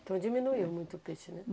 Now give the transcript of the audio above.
Então diminuiu muito o peixe, né?